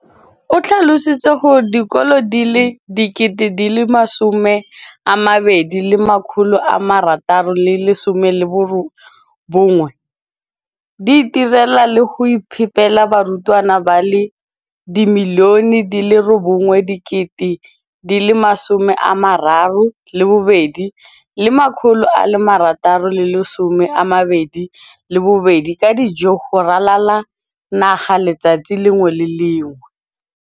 o tlhalositse gore dikolo di le 20 619 di itirela le go iphepela barutwana ba le 9 032 622 ka dijo go ralala naga letsatsi le lengwe le le lengwe.